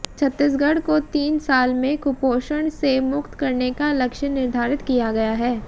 छत्तीसगढ़ को तीन साल में कुपोषण से मुक्त करने का लक्ष्य निर्धारित किया गया है